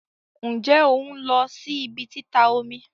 Nje on lo si ibi tita omi?